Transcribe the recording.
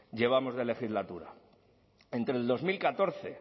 llevamos de legislatura entre el dos mil catorce